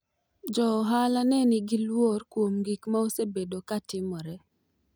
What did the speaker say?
jo ohala ne nigi lworo kuom gik ma osebedo ka timore